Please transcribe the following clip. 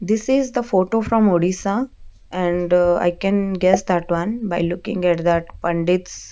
this is the photo from odisha and i can guess that one by looking at that pandits.